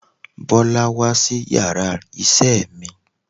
Bọ́lá wá sí yàrá isé mi